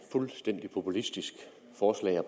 fuldstændig populistisk forslag at